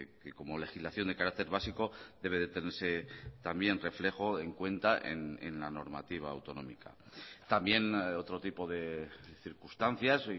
que como legislación de carácter básico debe de tenerse también reflejo en cuenta en la normativa autonómica también otro tipo de circunstancias